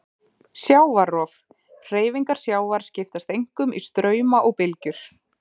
Sjávarrof: Hreyfingar sjávar skiptast einkum í strauma og bylgjur.